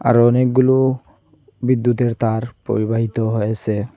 আরো অনেকগুলো বিদ্যুতের তার পরিবাহিত হয়েসে।